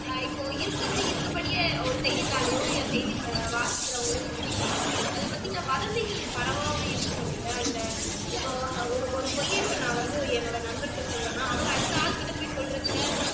அஹ் இப்போ இருக்கிறதை இருக்கிறபடியே ஒரு செய்தித்தாளிலோ அல்லது செய்தி வாசிக்கிறவர்களோ சொல்லிட்டா அதை பத்தின வதந்திகள் பரவாம இருக்கும் இல்லையா இந்த இப்போ ஒரு ஒரு பொய்யை இப்போ நான் வந்து என்னுடைய நண்பரிடம் சொல்றேன் அப்படின்னா அவர் அடுத்த ஆள்கிட்ட சொல்றப்போ